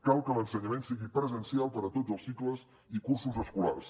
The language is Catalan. cal que l’ensenyament sigui presencial per a tots els cicles i cursos escolars